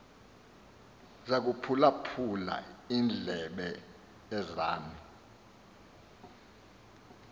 zaphulaphul iindlebe zam